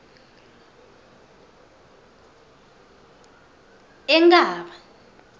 enkhaba